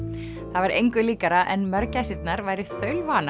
það var engu líkara en mörgæsirnar væru